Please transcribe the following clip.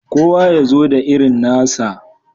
Kowa ya zo da irin nasa.